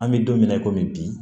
An bɛ don min na i komi bi